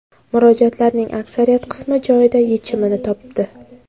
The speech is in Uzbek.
Murojaatlarning aksariyat qismi joyida yechimini topdi.